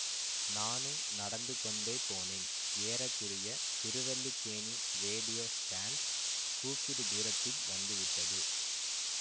நானும் நடந்துகொண்டே போனேன் ஏற குறைய திருவல்லிக்கேணி ரேடியோ ஸ்டாண்டு கூப்பிடு தூரத்தில் வந்து விட்டது